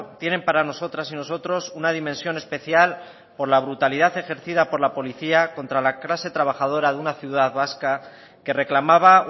tienen para nosotras y nosotros una dimensión especial por la brutalidad ejercida por la policía contra la clase trabajadora de una ciudad vasca que reclamaba